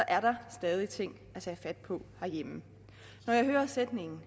er der stadig ting at tage fat på herhjemme når jeg hører sætningen